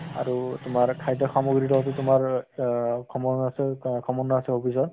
আৰু তোমাৰ খাদ্য় সামগ্ৰিৰ লগতো তোমাৰ অহ সম্বন্ধ আছে hobbies ৰ